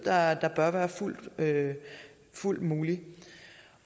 sig er det så rimeligt